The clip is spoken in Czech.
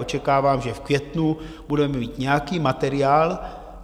Očekávám, že v květnu budeme mít nějaký materiál.